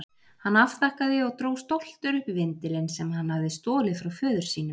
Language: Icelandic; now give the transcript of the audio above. Hann afþakkaði og dró stoltur upp vindilinn sem hann hafði stolið frá föður sínum.